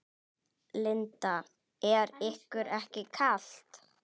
Linda: Er ykkur ekki kalt?